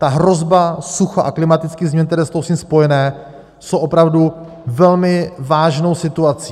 Ta hrozba sucha a klimatických změn, které jsou s tím spojené, jsou opravdu velmi vážnou situací.